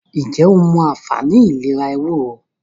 ǹjẹ́ o mọ anfààní ìlera “ ewúro ”.?